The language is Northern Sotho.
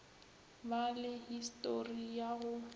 ba le histori ya go